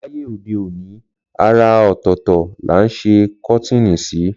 Láyé òdeòní àrà ọ̀tọ̀ọ̀tọ̀ là ń sẹ kọ́tìnì ṣí.